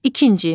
İkinci.